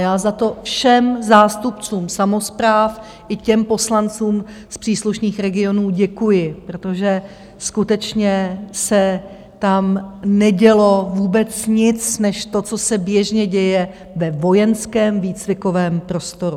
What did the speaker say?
Já za to všem zástupcům samospráv i těm poslancům z příslušných regionů děkuji, protože skutečně se tam nedělo vůbec nic než to, co se běžně děje ve vojenském výcvikovém prostoru.